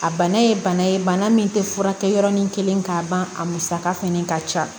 A bana ye bana ye bana min tɛ furakɛ yɔrɔnin kelen k'a ban a musaka fɛnɛ ka ca